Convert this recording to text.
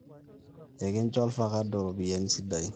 ekincho olvakado ropiyani sidain